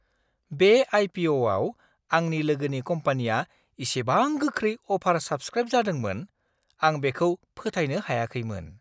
बे आइ.पि.अ'.आव आंनि लोगोनि कम्पानीया इसेबां गोख्रै अ'भार-साब्सक्राइब जादोंमोन, आं बेखौ फोथायनो हायाखैमोन!